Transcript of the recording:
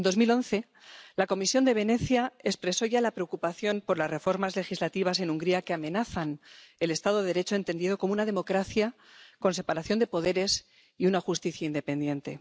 En 2011, la Comisión de Venecia expresó ya la preocupación por las reformas legislativas en Hungría que amenazan el Estado de Derecho entendido como una democracia con separación de poderes y una justicia independiente.